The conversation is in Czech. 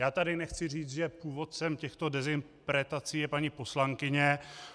Já tady nechci říct, že původcem těchto dezinterpretací je paní poslankyně.